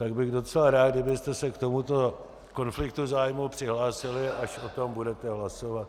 Tak bych docela rád, kdybyste se k tomuto konfliktu zájmu přihlásili, až o tom budete hlasovat.